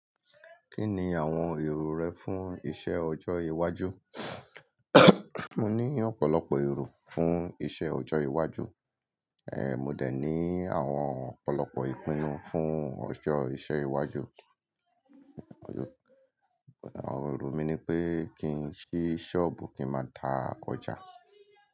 Kí ni àwọn èrò rẹ fún iṣẹ́ ọjọ́ iwájú? Mo ní ọ̀pọ̀lọpọ̀ èrò fún iṣẹ́ ọjọ́ iwájú, ẹ́, mo de ní àwọn ọ̀pọ̀lọpọ̀ ìpinnu fún ọjọ́ ìṣẹ́ iwájú. Ẹ̀, èrò mi ni pé kí n ṣí ṣọ́ọ̀bù kí n máa ta ọjà.